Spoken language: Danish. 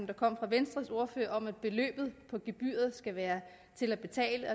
kom fra venstres ordfører om at beløbet på gebyret skal være til at betale